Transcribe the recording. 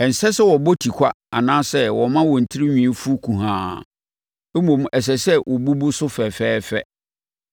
“ ‘Ɛnsɛ sɛ wɔbɔ tikwa anaasɛ wɔma wɔn tirinwi fu kuhaa, mmom ɛsɛ sɛ wɔbubu so fɛfɛɛfɛ.